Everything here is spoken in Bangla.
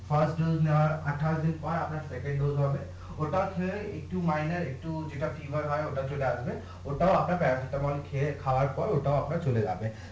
নেওয়ার আঠাশ দিন পর আপনার হবে ওটার চেয়ে একটু একটু যেটা হয় ওটা চলে আসবে ওটাও আপনার প্যারাসিটা মল খাওয়ার পর ওটাও আপনার চলে যাবে